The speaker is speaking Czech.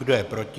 Kdo je proti?